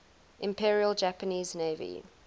imperial japanese navy